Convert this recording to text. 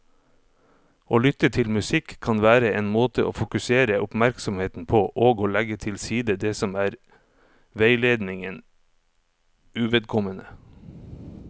Å lytte til musikk kan være en måte å fokusere oppmerksomheten på og legge til side det som er veiledningen uvedkommende.